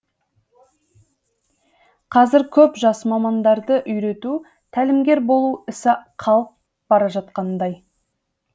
қазір көп жас мамандарды үйрету тәлімгер болу ісі қалып бара жатқандай